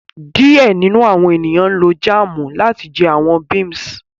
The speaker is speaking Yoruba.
Diẹ ninu awọn eniyan lo jaamu lati jẹ awọn beams